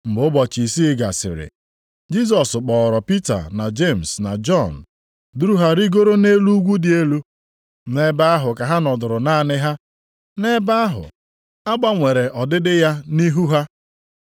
Mgbe ụbọchị isii gasịrị, Jisọs kpọọrọ Pita na Jemis na Jọn, duru ha rigoro nʼelu ugwu dị elu. Nʼebe ahụ ka ha nọdụrụ naanị ha. Nʼebe ahụ, a gbanwere ọdịdị ya nʼihu ha.